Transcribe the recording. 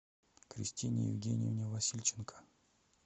кристине евгеньевне васильченко